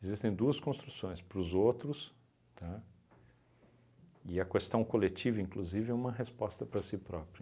Existem duas construções, para os outros, tá, e a questão coletiva, inclusive, é uma resposta para si próprio.